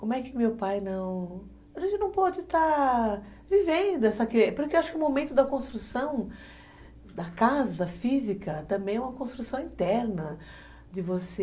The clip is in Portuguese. Como é que meu pai não... A gente não pode estar vivendo essa... Porque eu acho que o momento da construção da casa física também é uma construção interna, de você...